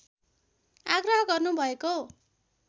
आग्रह गर्नु भएको